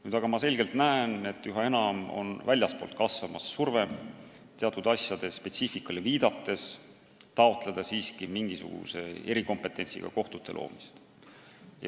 Nüüd ma aga näen selgelt, et üha enam kasvab väljastpoolt tulev surve teatud asjade spetsiifikale viidates taotleda mingisuguse erikompetentsiga kohtute loomist.